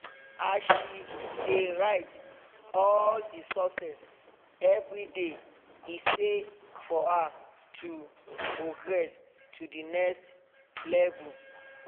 as she dey write all the success everyday e say for her to progress to the next level